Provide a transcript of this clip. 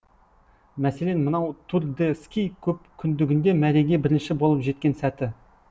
мәселен мынау тур де ски көпкүндігінде мәреге бірінші болып жеткен сәті